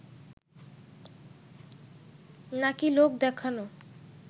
নাকি লোক দেখানো